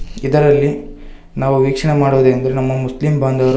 ಇದರಲ್ಲಿ ನಾವು ವೀಕ್ಷಣೆ ಮಾಡುವುದು ಎಂದು ನಮ್ಮ ಮುಸ್ಲಿಂ ಬಾಂಧವರು--